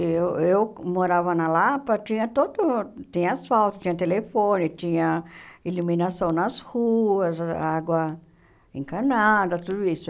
Eu eu morava na Lapa, tinha todo... Tinha asfalto, tinha telefone, tinha iluminação nas ruas, água encanada, tudo isso.